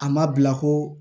A ma bila koo